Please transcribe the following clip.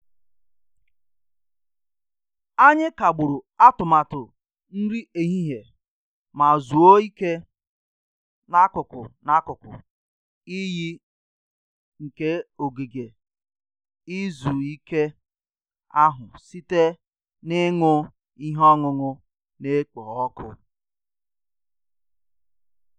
Anyị kagburu atụmatụ nri ehihie ma zuo ike n'akụkụ n'akụkụ iyi nke ogige izu ike ahụ site n'ịṅụ ihe ọṅụṅụ na-ekpo ọkụ